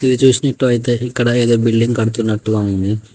చూసినట్టు అయితే ఇక్కడ ఎదో బిల్డింగ్ కడుతున్నటుగా ఉంది.